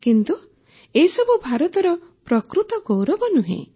କିନ୍ତୁ ଏସବୁ ଭାରତର ପ୍ରକୃତ ଗୌରବ ନୁହେଁ